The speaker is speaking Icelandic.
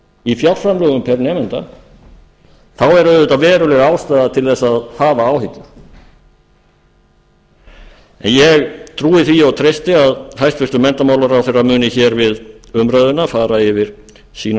í fjárframlögum pr nemanda þá er á auðvitað veruleg ástæða til að hafa áhyggjur en ég trúi því og treysti að hæstvirtur menntamálaráðherra muni við umræðuna fara yfir sínar